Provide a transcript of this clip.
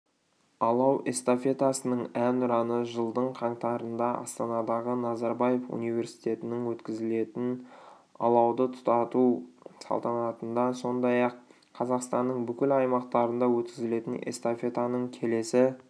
алау эстафетасының әнұраны жылдың қаңтарында астанадағы назарбаев университетінде өткізілетін алауды тұтату салтанатында сондай-ақ қазақстанның бүкіл аймақтарында өткізілетін эстафетаның келесі